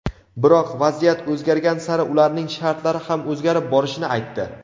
biroq vaziyat o‘zgargan sari ularning shartlari ham o‘zgarib borishini aytdi.